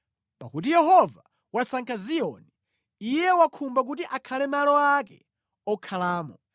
Pakuti Yehova wasankha Ziyoni, Iye wakhumba kuti akhale malo ake okhalamo: